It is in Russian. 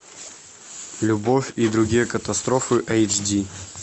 любовь и другие катастрофы эйч ди